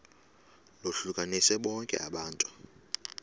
lohlukanise bonke abantu